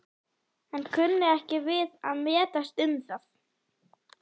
en kunni ekki við að metast um það.